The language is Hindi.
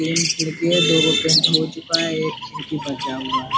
तीन खिड़की है दो पेंट हो चूका है एक खिड़की बचा हुआ है।